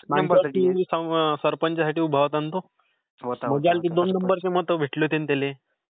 मागच्यावेळी सरपंचसाठी उभा होता ना तो? . दोन नंबर ची मत भेटली होती ना त्याले?